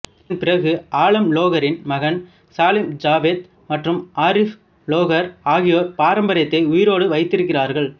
அதன்பிறகு ஆலம் லோகரின் மகன் சலீம் ஜாவேத் மற்றும் ஆரிஃப் லோகர் ஆகியோர் பாரம்பரியத்தை உயிரோடு வைத்திருக்கிறார்கள்